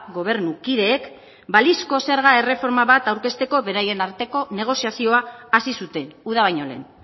gobernu kideek balizko zerga erreforma bat aurkezteko beraien arteko negoziazioa hasi zuten uda baino lehen